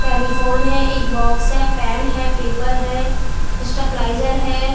Telephone है एक box है पेन है पेपर है स्टेपिलाइजेर है।